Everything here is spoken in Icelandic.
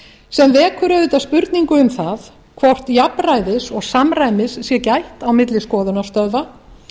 sem vekur auðvitað spurningu um það hvort jafnræðis og samræmis sé gætt milli skoðunarstöðva